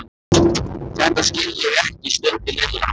Þetta skil ég ekki stundi Lilla.